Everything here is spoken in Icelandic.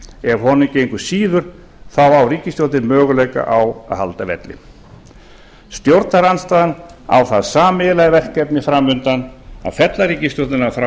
ef honum gengur síður á ríkisstjórnin möguleika á að halda velli stjórnarandstaðan á það sameiginlega verkefni fram undan að fella ríkisstjórnina frá